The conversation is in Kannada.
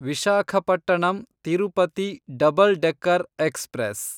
Visakhapatnam Tirupati double decker express